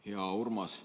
Hea Urmas!